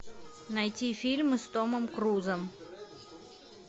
найти фильмы с томом крузом